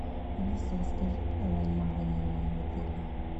алиса расскажи про раннее бронирование в отеле